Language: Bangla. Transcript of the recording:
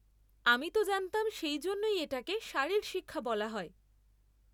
আমি তো জানতাম সেই জন্যই এটাকে শারীরশিক্ষা বলা হয়।